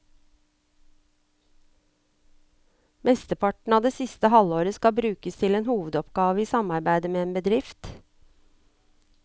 Mesteparten av det siste halvåret skal brukes til en hovedoppgave i samarbeide med en bedrift.